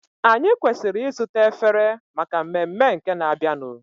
Anyị kwesịrị ịzụta efere maka mmemme nke na-abịanụ.